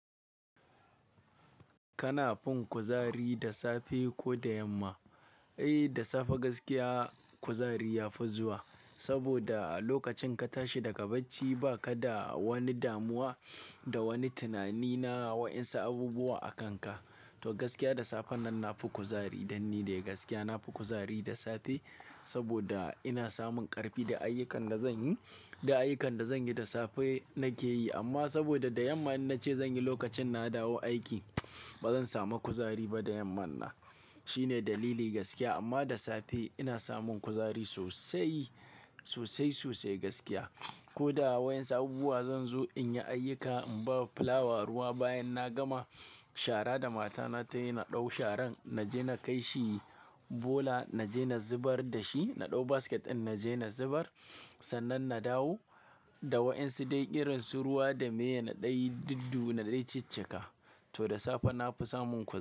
Kana fin kuzari da safe ko da yamma? Eh da safe gaskiya kuzari ya fi zuwa, saboda a lokacin ka tashi daga bacci ba ka da wani damuwa da wani tunani na wa ƴansu abubuwa a kanka. To gaskiya da safe nan na fi kuzari dan ni dai gaskiya na fi kuzari da safe saboda ina samun ƙarfi da ayyukan da zan yi, da ayyukan da zan yi da safe nake yi amma saboda da yamma in nace zanyi lokacin na dawo aiki bazan samu kuzari ba da yammanna. Shine dalili gaskiya amma da safe ina samun kuzari sosai, sosai sosai gaskiya. Ko da waƴansu abubuwa zanzo in yi ayyuka in bawa fulawa ruwa bayan na gama shara da matana tayi na ɗau sharan naje na kai shi bola, naje na zubar da shi, na ɗau basket ɗin naje na zubar sannan na dawo. Da waƴansu dai irinsu ruwa da meye nadai, diddu nadai, ciccika to da safe nafi samun kuzari.